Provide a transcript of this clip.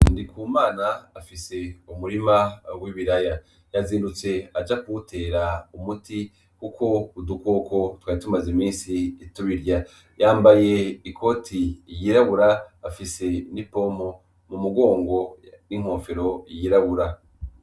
Ndikumana afise umurima w'ibiraya, yazindutse aja kuwutera umuti kuko udukoko twari tumaze imisi tubirya, yambaye ikoti yirabura, afise n'ipompo mu mugongo n'inkofero yirabura.